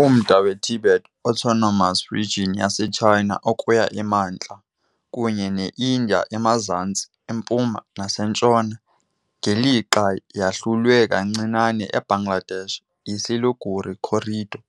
Umda weTibet Autonomous Region yaseChina ukuya emantla, kunye neIndiya emazantsi, empuma, nasentshona, ngelixa yahlulwe kancinane eBangladesh yiSiliguri Corridor,